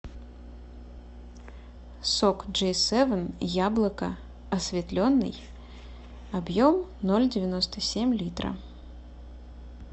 сок джей севен яблоко осветленный объем ноль девяносто семь литра